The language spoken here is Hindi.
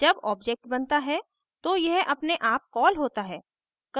जब object बनता है तो यह अपने आप कॉल होता है